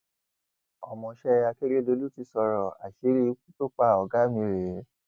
ọmọọṣẹ akérèdọlù ti sọrọ àṣírí ikú tó pa ọgá mi rèé